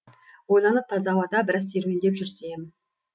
ойланып таза ауада біраз серуендеп жүрсем